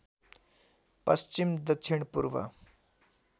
पश्चिम दक्षिण पूर्व